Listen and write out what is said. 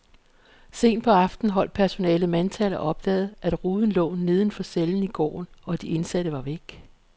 Sent på aftenen holdt personalet mandtal og opdagede, at ruden lå neden for cellen i gården, og de indsatte var væk.